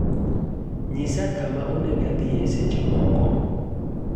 nyisa kama onego adhie seche moko